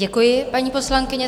Děkuji, paní poslankyně.